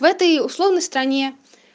в этой условной стране